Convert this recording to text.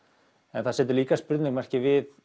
en það setur líka spurningamerki við